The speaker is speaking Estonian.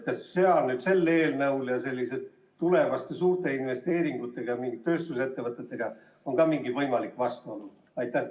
Kas sellele eelnõule võidakse seoses selliste tulevaste suurte investeeringutega ja mingite tööstusettevõtetega ka vastu olla?